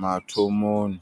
mathomoni.